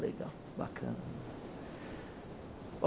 Legal, bacana.